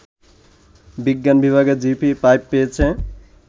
বিজ্ঞান বিভাগে জিপিএ-৫ পেয়েছে